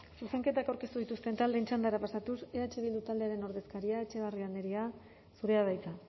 zuzenketak aurkeztu dituzten taldeen txandara pasatuz eh bildu taldearen ordezkaria etxebarria andrea zurea da hitza